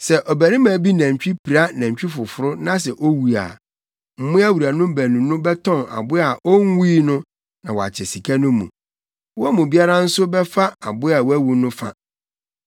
“Sɛ ɔbarima bi nantwi pira nantwi foforo na sɛ owu a, mmoa wuranom baanu no bɛtɔn aboa a onwui no na wɔakyɛ sika no mu. Wɔn mu biara nso bɛfa aboa a wawu no fa.